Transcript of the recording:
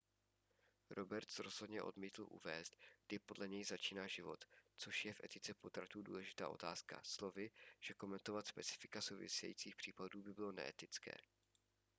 roberts rozhodně odmítl uvést kdy podle něj začíná život což je v etice potratů důležitá otázka slovy že komentovat specifika souvisejících případů by bylo neetické